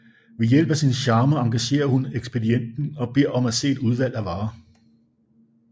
Ved hjælp af sin charme engagerer hun ekspedienten og beder om at se et udvalg af varer